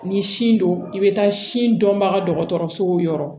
Ni sin don i bɛ taa sin dɔnbaga dɔgɔtɔrɔsow yɔrɔ